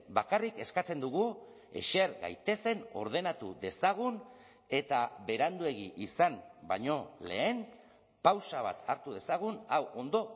bakarrik eskatzen dugu eser gaitezen ordenatu dezagun eta beranduegi izan baino lehen pausa bat hartu dezagun hau ondo